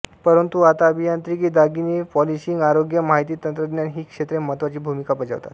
परंतु आता अभियांत्रिकी दागिने पॉलिशिंग आरोग्य माहिती तंत्रज्ञान ही क्षेत्रे महत्त्वाची भूमिका बजावतात